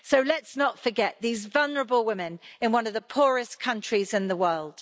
So let's not forget these vulnerable women in one of the poorest countries in the world.